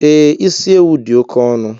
E, isi ewu dị oké ọnụ